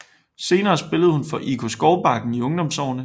Senere spillede hun for IK Skovbakken i ungdomsårene